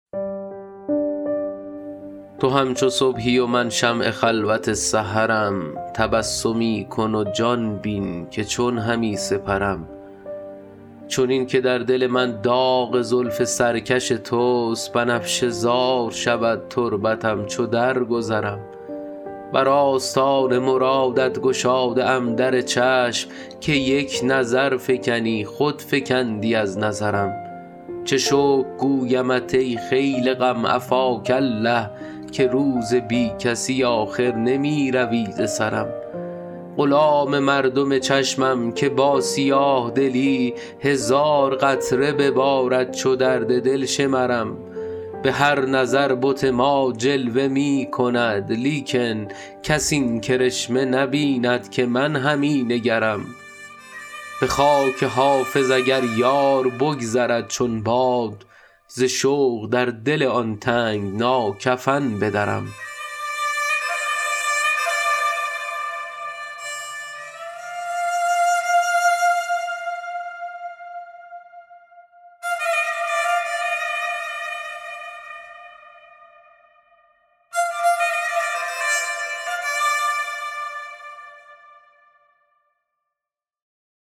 تو همچو صبحی و من شمع خلوت سحرم تبسمی کن و جان بین که چون همی سپرم چنین که در دل من داغ زلف سرکش توست بنفشه زار شود تربتم چو درگذرم بر آستان مرادت گشاده ام در چشم که یک نظر فکنی خود فکندی از نظرم چه شکر گویمت ای خیل غم عفاک الله که روز بی کسی آخر نمی روی ز سرم غلام مردم چشمم که با سیاه دلی هزار قطره ببارد چو درد دل شمرم به هر نظر بت ما جلوه می کند لیکن کس این کرشمه نبیند که من همی نگرم به خاک حافظ اگر یار بگذرد چون باد ز شوق در دل آن تنگنا کفن بدرم